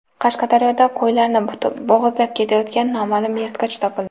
Qashqadaryoda qo‘ylarni bo‘g‘izlab ketayotgan noma’lum yirtqich topildi.